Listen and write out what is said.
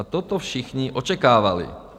A toto všichni očekávali.